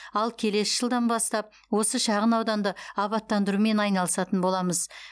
ал келесі жылдан бастап осы шағын ауданды абаттандырумен айналысатын боламыз